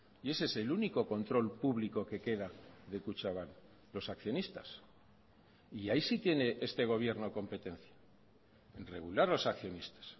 y ese es el único control público que queda de kutxabank los accionistas y ahí sí tiene este gobierno competencia en regular los accionistas